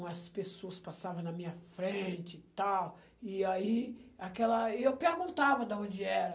Umas pessoas passavam na minha frente e tal, e aí, aquela, e eu perguntava da onde era.